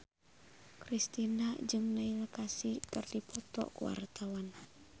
Kristina jeung Neil Casey keur dipoto ku wartawan